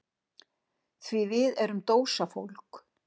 Því við erum dósafólk.